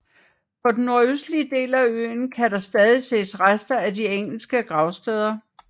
På den nordøstlige del af øen kan der stadig ses rester af de engelske gravsteder